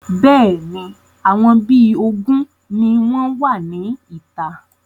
Bẹ́ẹ̀ni, àwọn bí ogún ni wọn wá ní ìta.